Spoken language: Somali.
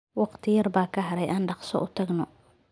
Waqti yar baa ka haray, aan dhaqso u tagno.